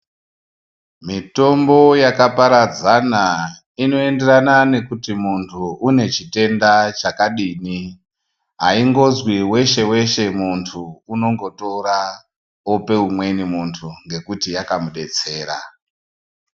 Mutombo yakaparadzana inoenderana nekuti muntu une chitenda chakadini aingozwi weshe weshe muntu unongotora ope umweni muntu ngekuti yakamudetsera.